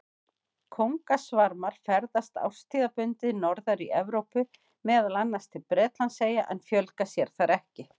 Kóngasvarmar ferðast árstíðabundið norðar í Evrópu, meðal annars til Bretlandseyja, en fjölga sér þar ekki.